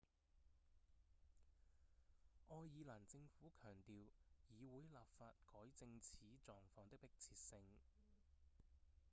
愛爾蘭政府強調議會立法改正此狀況的迫切性